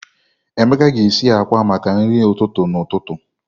Emeka ga-esi akwa akwa maka nri ụtụtụ n'ụtụtụ.